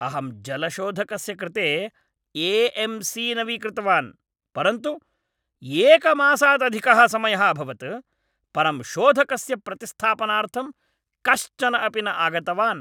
अहं जलशोधकस्य कृते ए.एम्.सी. नवीकृतवान्, परन्तु एकमासात् अधिकः समयः अभवत् परं शोधकस्य प्रतिस्थापनार्थं कश्चन अपि न आगतवान्।